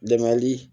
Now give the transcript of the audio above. Dɛmli